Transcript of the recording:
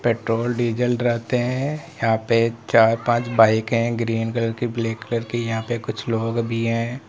Petrol diesel रहते हैं यहां पे चार पांच बाइक हैं ग्रीन कलर की ब्लैक कलर की यहां पे कुछ लोग भी हैं।